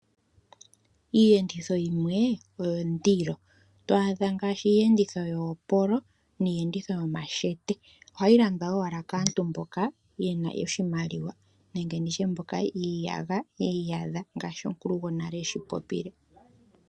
Iiyenditho yimwe oyondilo, twaadha ngaashi iiyenditho yoopolo, niiyenditho yomashete ohayi landwa owala kaantu mboka ye na oshimaliwa nenge ndi tye mboka yi iyadha ngaashi omukulugonale eshi popile.